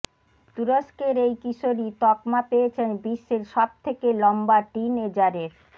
তুরস্কের এই কিশোরী তকমা পেয়েছেন বিশ্বের সবথেকে লম্বা টিনএজারের